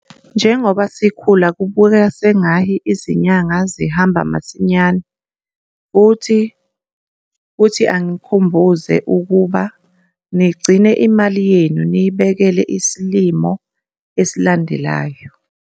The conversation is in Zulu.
Njengoba sikhula, kubukeka sengahi izinyanga zihamba masinyane futhi kuthi anginikhumbuze ukuba nigcine imali yenu niyibekele isilimo esilandelayo.